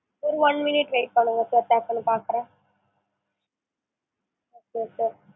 ஒரு one minute wait பண்ணுங்க sir டக்குன்னு பாக்குறேன் okay